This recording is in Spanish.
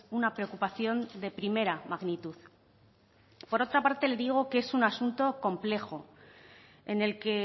una preocupación de primera magnitud por otra parte le digo que es un asunto complejo en el que